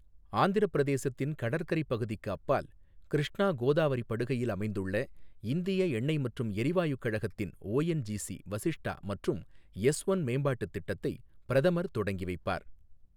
ஆந்திரப்பிரதேசத்தின் கடற்கரைப் பகுதிக்கு அப்பால், கிருஷ்ணா கோதாவரி படுகையில் அமைந்துள்ள இந்திய எண்ணெய் மற்றும் எரிவாயுக் கழகத்தின் ஒஎன்ஜிசி வசிஷ்டா மற்றும் எஸ் ஒன் மேம்பாட்டுத் திட்டத்தை பிரதமர் தொடங்கி வைப்பார்.